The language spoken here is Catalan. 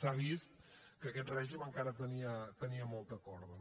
s’ha vist que aquest règim encara tenia molta corda